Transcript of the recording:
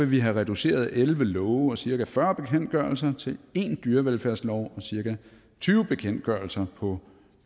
vil have reduceret elleve love og cirka fyrre bekendtgørelser til én dyrevelfærdslov og cirka tyve bekendtgørelser på